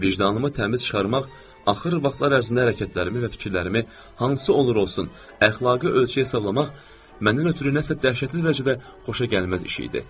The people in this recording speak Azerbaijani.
Vicdanımı təmiz çıxarmaq, axır vaxtlar ərzində hərəkətlərimi və fikirlərimi hansı olur-olsun, əxlaqi ölçü hesablayıb, məndən ötrü nəsə dəhşətli dərəcədə xoşagəlməz iş idi.